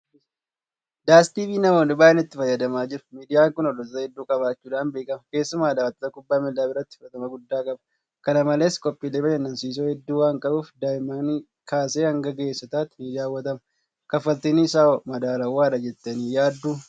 "DS tv" namoonni baay'een itti fayyadamaa jiru. Miidiyaan kun hordoftoota hedduu qabaachuudhaan beekama. Keessumaa daawwattoota Kubbaa Miilaa biratti fudhatama guddaa qaba. Kana malees qophiilee bashannansiisoo hedduu waanqabuuf daa'immanii kaasee hanga ga'eessotaatti nidaawwatama. Kalfaltiin isaawoo madaalawaadha jettanii yaadduu?